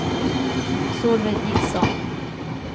Solveig Nilsson